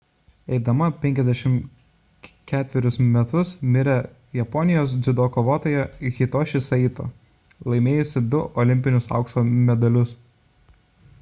eidama 54 metus mirė japonijos dziudo kovotoja hitoshi saito laimėjusi du olimpinius aukso medalius